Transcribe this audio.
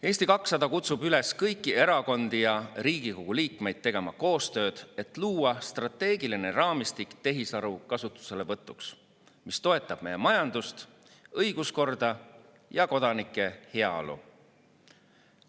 Eesti 200 kutsub üles kõiki erakondi ja Riigikogu liikmeid tegema koostööd, et luua strateegiline raamistik tehisaru kasutuselevõtuks, mis toetab meie majandust, õiguskorda ja kodanike heaolu.